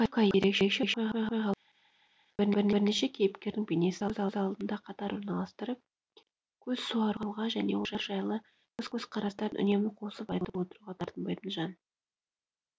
кафка ерекше оқиғаларға емес бірнеше кейіпкердің бейнесін көз алдына қатар орналастырып көз суаруға және олар жайлы көзқарастарын үнемі қосып айтып отыруға тартынбайтын жан